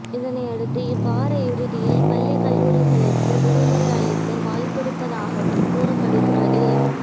இதனை அடுத்து இவ்வார இறுதியில் பள்ளி கல்லூரிகளுக்கு விடுமுறை அளிக்க வாய்ப்பிருப்பதாகவும் கூறப்படுகிறது